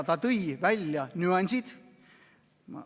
Ta tõi välja nüansid.